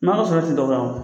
N'ɔ ya sɔrɔ e ti dɔ ka